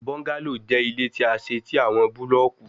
Bungalow jẹ ile ti a ṣe ti awọn bulọọki